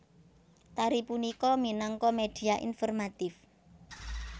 Tari punika minangka media informatif